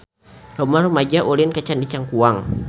Loba rumaja ulin ka Candi Cangkuang